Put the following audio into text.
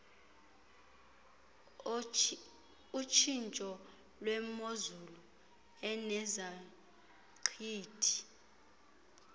otshintsho lwemozulu enezaqhwithi